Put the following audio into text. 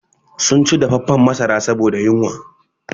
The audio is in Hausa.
Sun ci dafaffan masara saboda yunwa